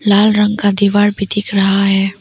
लाल रंग का दीवार भी दिख रहा है।